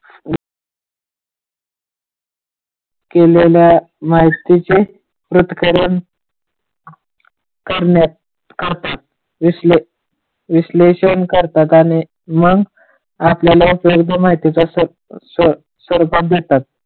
केलेल्या माहितीची पृथकरन करतात विश्लेषण करतात आणि मग आपल्याला सर्व माहितीचा देतात.